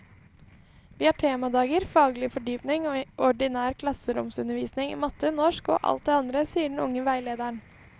Vi har temadager, faglig fordypning og ordinær klasseromsundervisning i matte, norsk og alt det andre, sier den unge veilederen.